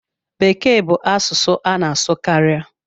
Bekee bu asụsụ a na asụ karịa.